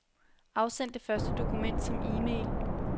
Afsend det første dokument som e-mail.